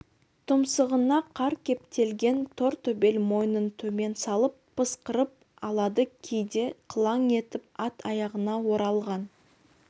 тұмсығына қар кептелген тор төбел мойнын төмен салып пысқырып алады кейде қылаң етіп ат аяғына оралған